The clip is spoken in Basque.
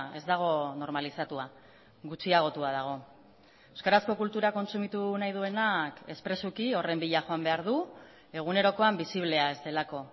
ez dago normalizatua gutxiagotua dago euskarazko kultura kontsumitu nahi duenak espresuki horren bila joan behar du egunerokoan bisiblea ez delako